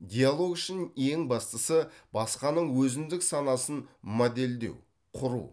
диалог үшін ең бастысы басқаның өзіндік санасын модельдеу құру